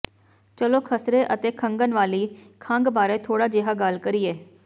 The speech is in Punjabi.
ਚਲੋ ਖਸਰੇ ਅਤੇ ਖੰਘਣ ਵਾਲੀ ਖੰਘ ਬਾਰੇ ਥੋੜ੍ਹਾ ਜਿਹਾ ਗੱਲ ਕਰੀਏ